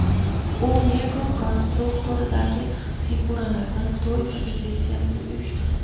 U Lego konstruktoridagi figuralardan to‘y fotosessiyasini uyushtirdi.